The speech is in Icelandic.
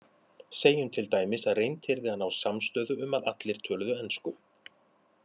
Segjum til dæmis að reynt yrði að ná samstöðu um að allir töluðu ensku.